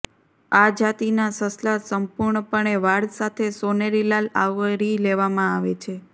આ જાતિના સસલા સંપૂર્ણપણે વાળ સાથે સોનેરી લાલ આવરી લેવામાં આવે છે